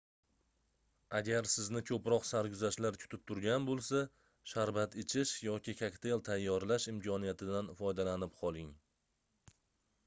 agar sizni koʻproq sarguzashtlar kutib turgan boʻlsa sharbat ichish yoki kokteyl tayyorlash imkoniyatidan foydalanib qoling